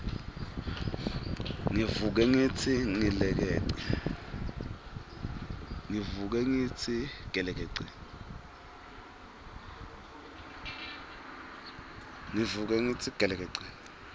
ngivuke ngitsi gelekece